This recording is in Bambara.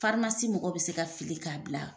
mɔgɔ bɛ se ka fili k'a bila